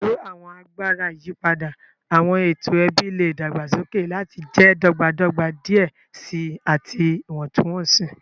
Pẹlu awọn agbara iyipada, awọn eto ẹbi le dagbasoke lati jẹ dọgbadọgba diẹ sii ati iwọntunwọnsi.